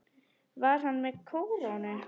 Var hann með kórónu?